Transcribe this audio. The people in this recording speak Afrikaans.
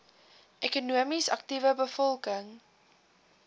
ekonomies aktiewe bevolking